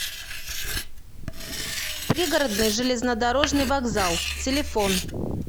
пригородный железнодорожный вокзал телефон